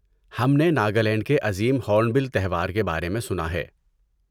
ہم نے ناگالینڈ کے عظیم ہورنبل تہوار کے بارے میں سنا ہے۔